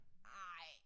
Ej